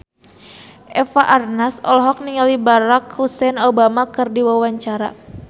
Eva Arnaz olohok ningali Barack Hussein Obama keur diwawancara